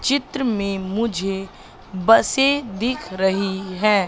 चित्र में मुझे बसे दिख रही है।